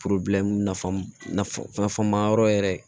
nafa ma yɔrɔ yɛrɛ